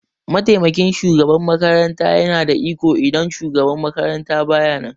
mataimakin shugaban makaranta yana da iko idan shugaban makaranta baya nan.